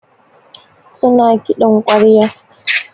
Su na kiɗin ƙwarya.